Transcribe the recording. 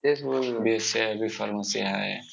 B. Sc आहे B. Pharmacy आहे.